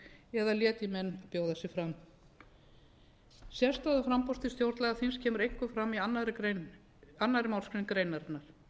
eða letji menn að bjóða sig fram sérstaða framboða til stjórnlagaþings kemur einkum fram í annarri málsgrein greinarinnar